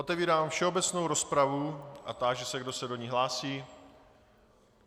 Otevírám všeobecnou rozpravu a táži se, kdo se do ní hlásí.